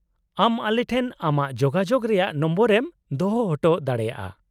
-ᱟᱢ ᱟᱞᱮᱴᱷᱮᱱ ᱟᱢᱟᱜ ᱡᱳᱜᱟᱡᱳᱜ ᱨᱮᱭᱟᱜ ᱱᱚᱢᱵᱚᱨ ᱮᱢ ᱫᱚᱦᱚ ᱦᱚᱴᱚ ᱫᱟᱲᱮᱭᱟᱜᱼᱟ ᱾